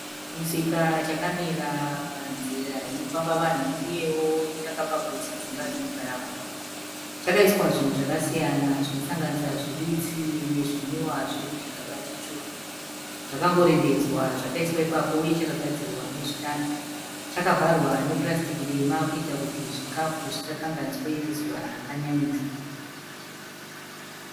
chimusika chakamira panzira inofamba vanhu uyewo chakapa gotsi kudzimba dzinogara vanhu. Chakaiswa zvinhu zvakasiyana zvinosanganisira zviwitsi nezvinwiwa zviri mugaba tsvuku. Zvakangorembedzwa chakaiswa ipapo uye chakagadzirwa nezvitanda chakavharwa nepurasitiki dema kuitira kuti zvikafu zvisakanganiswe nezuva rakanyanyisa.